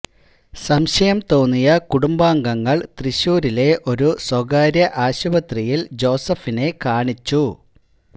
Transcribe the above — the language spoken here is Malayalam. സംശയം തോന്നിയ കുടുംബാംഗങ്ങള് തൃശൂരിലെ ഒരു സ്വകാര്യ ആശുപത്രിയിൽ ജോസഫിനെ കാണിച്ചു